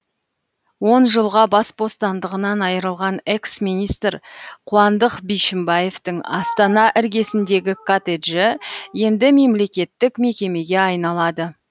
он жылға бас бостандығынан айырылған экс министр қуандық бишімбаевтың астана іргесіндегі коттеджі енді мемлекеттік мекемеге айналады